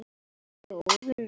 Hann naut þess.